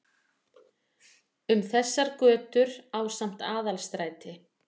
Um þessar götur ásamt Aðalstræti